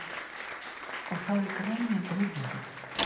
Og það í grenjandi rigningu!